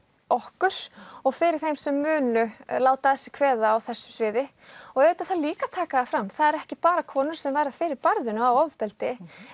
okkur og fyrir þeim sem munu láta að sér kveða á þessu sviði og auðvitað þarf líka að taka það fram það eru ekki bara konur sem verða fyrir barðinu á ofbeldi